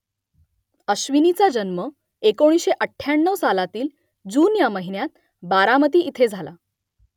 अश्विनीचा जन्म एकोणीसशे अठ्ठ्याण्णव सालातील जून ह्या महिन्यात बारामती इथे झाला